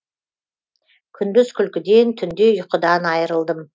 күндіз күлкіден түнде ұйқыдан айырылдым